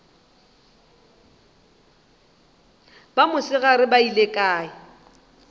ba mosegare ba beile kae